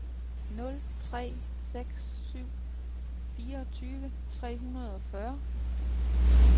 nul tre seks syv fireogtyve tre hundrede og fyrre